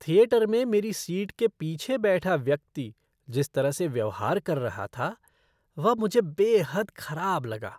Theatre में मेरी seat के पीछे बैठा व्यक्ति जिस तरह से व्यवहार कर रहा था, वह मुझे बेहद ख़राब लगा।